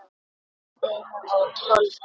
Steina og Tolla?